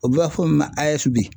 U b'a fɔ min ma AES bi.